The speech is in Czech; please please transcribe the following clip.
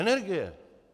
Energie.